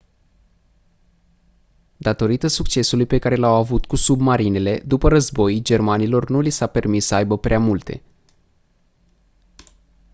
datorită succesului pe care l-au avut cu submarinele după război germanilor nu li s-a permis să aibă prea multe